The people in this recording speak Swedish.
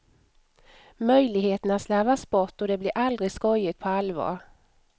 Möjligheterna slarvas bort och det blir aldrig skojigt på allvar.